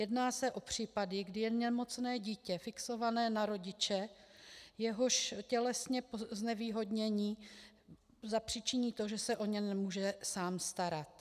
Jedná se o případy, kdy je nemocné dítě fixované na rodiče, jehož tělesné znevýhodnění zapříčiní to, že se o ně nemůže sám starat.